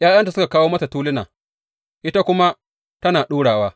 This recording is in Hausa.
’Ya’yanta suka kawo mata tuluna, ita kuma tana ɗurawa.